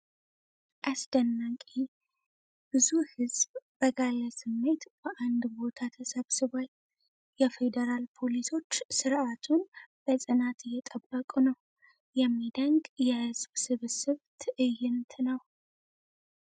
አስደናቂ ! ብዙ ሕዝብ በጋለ ስሜት በአንድ ቦታ ተሰብስቧል። የፊድራል ፖሊሶች ሥርዓቱን በጽናት እየጠበቁ ነው። የሚደነቅ የሕዝብ ስብስብ ትዕይንት ነው!